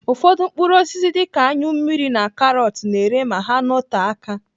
Ụfọdụ mkpụrụ osisi dịka anyụ mmiri na karọt na-ere ma ha note aka.